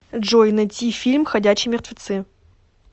джой найти фильм ходячие мертвецы